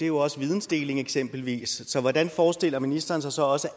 jo også vidensdeling eksempelvis så hvordan forestiller ministeren sig så også